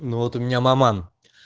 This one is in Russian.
ну вот у меня маман